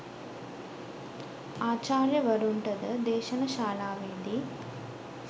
ආචාර්යවරුන්ටද දේශන ශාලාවේදී